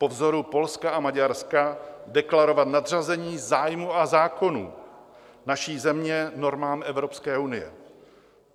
Po vzoru Polska a Maďarska deklarovat nadřazení zájmů a zákonů naší země normám Evropské unie.